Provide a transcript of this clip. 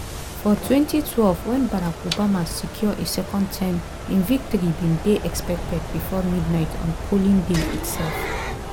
for 2012 when barack obama secure a second term im victory bin dey expected before midnight on polling day itself.